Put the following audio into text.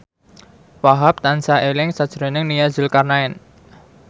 Wahhab tansah eling sakjroning Nia Zulkarnaen